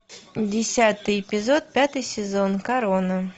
десятый эпизод пятый сезон корона